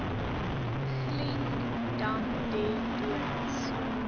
glendam de doorns